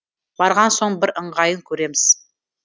барған соң бір ыңғайын көреміз